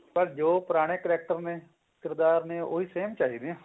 ਪਰ ਜੋ ਪੁਰਾਣੇ character ਨੇ ਉਹੀ same ਚਾਹੀਦੇ ਆ